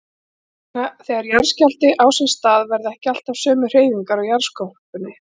Þegar jarðskjálfti á sér stað verða ekki alltaf sömu hreyfingar á jarðskorpunni.